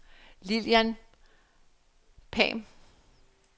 Lillian Pham